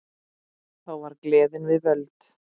Þá var gleðin við völd.